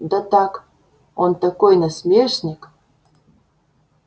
да так он такой насмешник